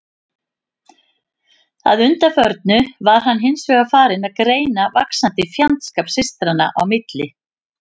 Að undanförnu var hann hins vegar farinn að greina vaxandi fjandskap systranna í milli.